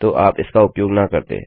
तो आप इसका उपयोग न करते